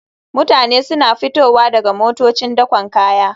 Mutane suna fitowa daga motocin dakon kaya